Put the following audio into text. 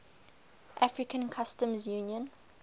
african customs union